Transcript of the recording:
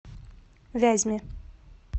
вязьме